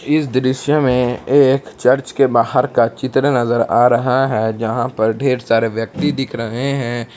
इस दृश्य में एक चर्च के बाहर का चित्र नजर आ रहा है जहां पर ढेर सारे व्यक्ति दिख रहे हैं।